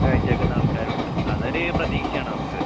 കാഴ്ച്ച വെക്കുന്നാൾക്കാരൊണ്ട്. അതൊര് പ്രതീക്ഷയാണ് നമക്ക്.